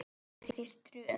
Þú átt þér tröð.